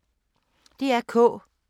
DR K